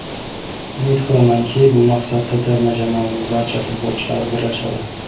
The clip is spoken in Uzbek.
Umid qilamanki, bu maqsadda terma jamoaning barcha futbolchilari birlashadi.